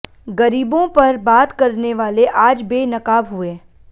गरीबों पर बात करने वाले आज बेनकाब हुए